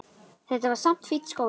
Þetta var samt fínn skóli.